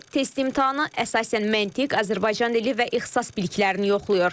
test imtahanı, əsasən məntiq, Azərbaycan dili və ixtisas biliklərini yoxlayır.